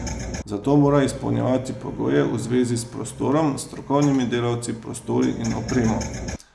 Za to mora izpolnjevati pogoje v zvezi s prostorom, strokovnimi delavci, prostori in opremo.